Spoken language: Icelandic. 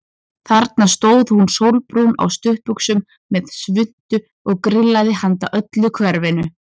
Þarna stóð hún sólbrún á stuttbuxum og með svuntu og grillaði handa öllu hverfinu.